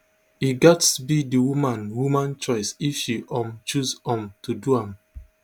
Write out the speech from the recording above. e gatz be di woman woman choice if she um choose um to do am